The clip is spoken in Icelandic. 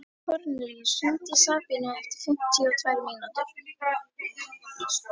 Kornelíus, hringdu í Sabínu eftir fimmtíu og tvær mínútur.